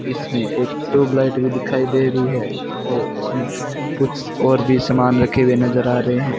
इसमें एक ट्यूबलाइट भी दिखाई दे री है और इसमें कुछ और भी सामान रखे हुए नजर आ रहे हैं।